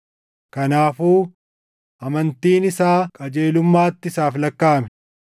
Kanaafuu, “Amantiin isaa qajeelummaatti isaaf lakkaaʼame.”